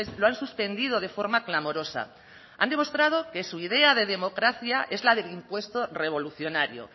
lo han suspendido de forma clamorosa han demostrado que su idea de democracia es la del impuesto revolucionario